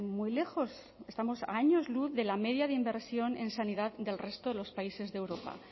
muy lejos estamos a años luz de la media de inversión en sanidad del resto de los países de europa